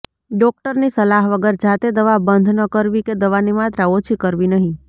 ડોક્ટરની સલાહ વગર જાતે દવા બંધ ન કરવી કે દવાની માત્રા ઓછી કરવી નહિ